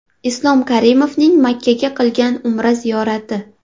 Islom Karimovning Makkaga qilgan Umra ziyorati.